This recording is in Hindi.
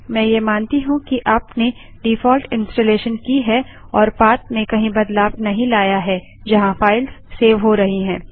मैं ये मानती हूँ कि आपने डिफॉल्ट इन्स्टालेशन की है और पाथ में कहीं बदलाव नहीं लाया है जहाँ फाइल्स सेव हो रही हैं